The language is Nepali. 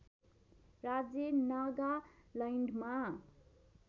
राज्य नागालैन्डमा